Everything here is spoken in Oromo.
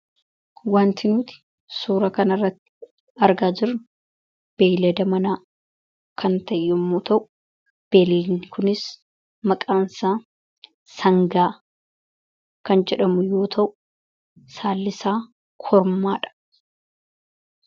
Wanti nuti suuraa kanarratti argaa jirru beeylada manaa kan ta'e yommuu ta'u bineeldi kunis maqaansaa sangaa kan jedhamu yoo ta'u saallisaa kormaadha.